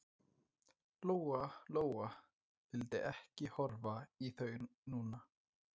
Lóa Lóa vildi ekki horfa í þau núna.